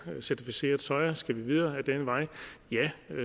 certificeret soja skal vi videre ad denne vej ja